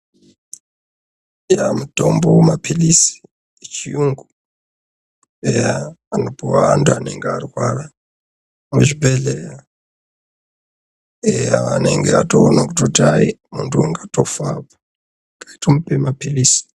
Eya, mutombo mapilizi, echiyungu, eya anopuwa antu anenge arwara muchibhehlera, eya anonga atoona kuti hai muntu ungatofa, rekai timupe mapilizi.